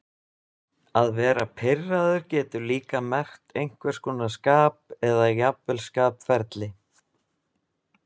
Að vera pirraður getur líka merkt einhvers konar skap eða jafnvel skapferli.